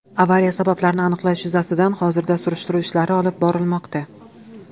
Avariya sabablarini aniqlash yuzasidan hozirda surishtiruv ishlari olib borilmoqda.